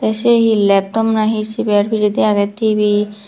say he laptop na he siber pijaidi aagay tv.